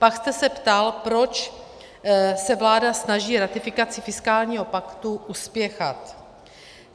Pak jste se ptal, proč se vláda snaží ratifikaci fiskálního paktu uspěchat.